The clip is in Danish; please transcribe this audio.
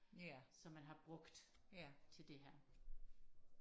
som man har brugt til det her